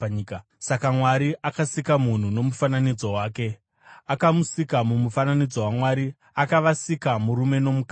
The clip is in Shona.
Saka Mwari akasika munhu nomufananidzo wake, akamusika mumufananidzo waMwari; akavasika murume nomukadzi.